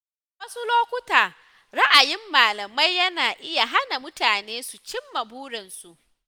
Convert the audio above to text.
A wasu lokuta, ra’ayin malamai yana iya hana mutane su cimma burinsu.